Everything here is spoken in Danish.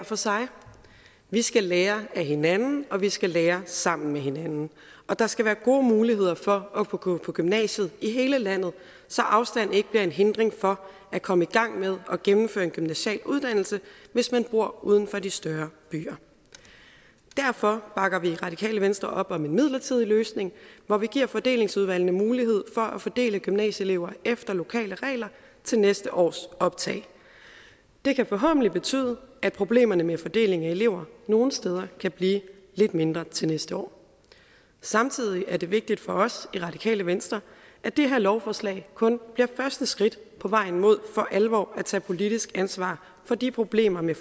for sig vi skal lære af hinanden og vi skal lære sammen med hinanden der skal være gode muligheder for at kunne gå på gymnasiet i hele landet så afstand ikke bliver en hindring for at komme i gang med at gennemføre en gymnasial uddannelse hvis man bor uden for de større byer derfor bakker vi i radikale venstre op om en midlertidig løsning hvor vi giver fordelingsudvalgene mulighed for at fordele gymnasieelever efter lokale regler til næste års optag det kan forhåbentlig betyde at problemerne med fordeling af elever nogle steder kan blive lidt mindre til næste år samtidig er det vigtigt for os i radikale venstre at det her lovforslag kun bliver første skridt på vejen mod for alvor at tage politisk ansvar for de problemer med